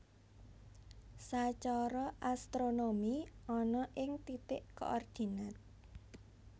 Sacara astronomi ana ing titik koordinat